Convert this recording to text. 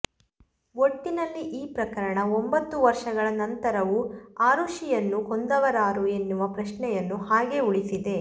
ಒಟ್ಟಿನಲ್ಲಿ ಈ ಪ್ರಕರಣ ಒಂಬತ್ತು ವರ್ಷಗಳ ನಂತರವೂ ಆರುಷಿಯನ್ನು ಕೊಂದವರಾರು ಎನ್ನುವ ಪ್ರಶ್ನೆಯನ್ನು ಹಾಗೇ ಉಳಿಸಿದೆ